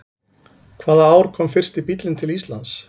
Hvaða ár kom fyrsti bíllinn til Íslands?